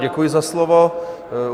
Děkuji za slovo.